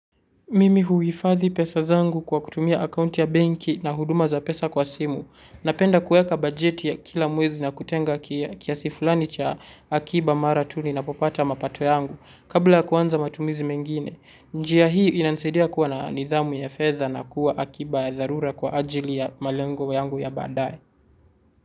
Mimi huifadhi pesa zangu kwa kutumia akaunti ya banki na huduma za pesa kwa simu, napenda kueka bajeti ya kila mwezi na kutenga kiasi fulani cha akiba mara tu ninapopata mapato yangu kabla ya kuanza matumizi mengine. Njia hii inansedia kuwa na nidhamu ya fedha na kuwa akiba ya dharura kwa ajili ya malengo yangu ya baadae.